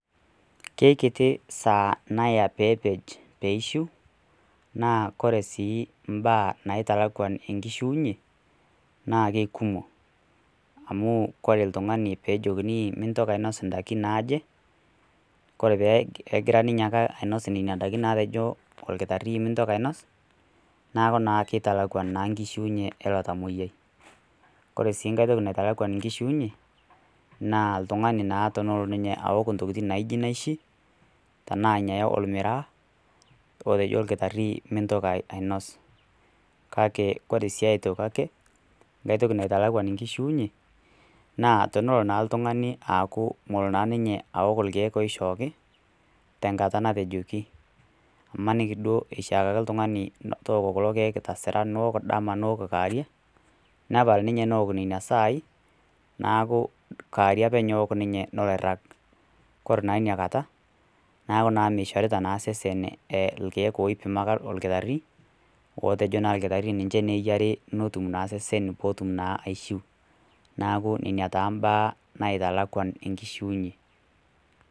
Keeikiti saaa naya pee peet peishu naa kore sii imbaa naitalakwan enkishuunyie naa keikumok amu ore oltung'ani peejokini mintoki ainosh indaikin naaje kore peegora ninye ainos nena daiki naatejo orkitari mintoki ainos neeku naa keitalakuan naa nkishuunyie eilo tamoyiai ore sii nkae toki naitalakwan nkishuunyie naa oltung'ani naa tenelotu aok intokitin naaijio naishi tenaa ormiraa otejo orkitari mintoki ainos kake ore sii aitoki ake ngae toki naitanyamal nkishuunyie naa tonolo naa iltung'ani aaku meeok irkiek ooishooki tenkata natejoki imaniki duoo eishakaki oltung'ani metooki kulo kiek niom dama niok kawarie nepal ninye neok nena saai neeku kaarie ake eewok ninye eirag kora naa neeku meishorita naa taata iseseni irkiek ootiaka orkitari ootejo naa orkitari ninche eyiari netuma naa naaku ina naa impaa naitalakwan enkishuunyie .